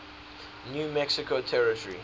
new mexico territory